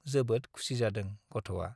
जोबोद खुसि जादों गथ'आ।